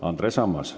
Andres Ammas.